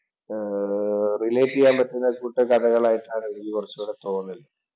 ആഹ് relate ചെയ്യാൻ പറ്റുന്ന കഥകൾ ആയിട്ടാണ് എനിക്ക് കുറച്ചു കൂടെ തോന്നുന്നത്.